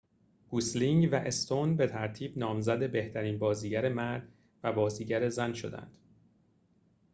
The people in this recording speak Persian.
گوسلینگ و استون به ترتیب نامزد بهترین بازیگر مرد و بازیگر زن شدند